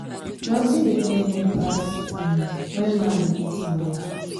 nothing dey pain me pass um when man dey beat im wife